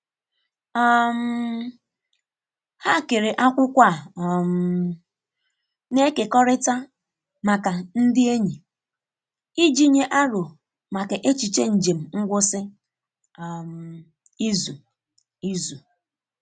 um Ha kere akwụkwọ a um na-ekekọrịta maka ndị enyi iji nye aro maka echiche njem ngwụsị um izu. izu.